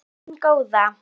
Elskan mín góða.